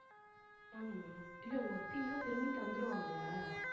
ஆமா. இல்ல ஒத்தின்னா திரும்பி தந்திருவாங்கல்ல